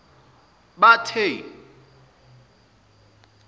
bathe